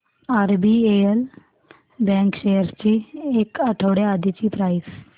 RBL bank shares ची एक आठवड्या आधीची प्राइस